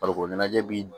Farikolo ɲɛnajɛ bi